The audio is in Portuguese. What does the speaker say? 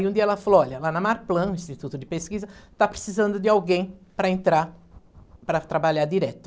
Aí um dia ela falou, olha, lá na Marplan, Instituto de Pesquisa, está precisando de alguém para entrar, para trabalhar direto.